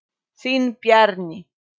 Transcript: Þinn Bjarni.